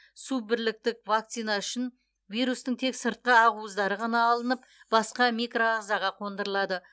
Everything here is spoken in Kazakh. суббірліктік вакцина үшін вирустың тек сыртқы ақуыздары ғана алынып басқа микроағзаға қондырылады